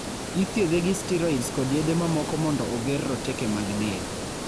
ithiedhe gi steroids kod yedhe mamoko mondo oger roteke mag del